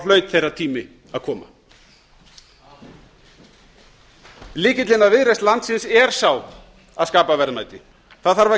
hlaut þeirra tími að koma amen lykillinn að viðreisn landsins er sá að skapa verðmæti það þarf að